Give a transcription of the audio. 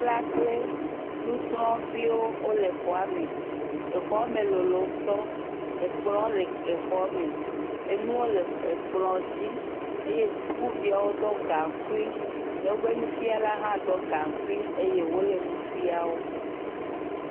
Nufiala kple nusrɔ̃viwo le exɔ me. Exɔ me lolo ŋutɔ. Ekplɔ le exɔ me. Enuwo le ekplɔ dzi eye sukuviawo ɖɔ gankui. Woƒe nufiala hã ɖɔ gankui eye wole nu fiam wò.